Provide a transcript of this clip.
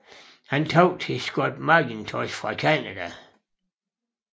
Han tabte til Scott MacIntosh fra Canada